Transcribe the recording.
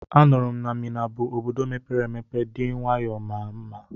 Anụrụ m na Mina bụ Obodo mepere emepe dị nwayọọ ma maa mma.